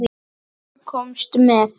Sem þú komst með.